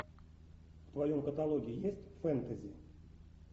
в твоем каталоге есть фэнтези